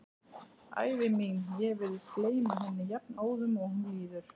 Ævi mín, ég virðist gleyma henni jafnóðum og hún líður.